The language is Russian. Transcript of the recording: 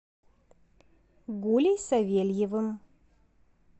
гулей савельевым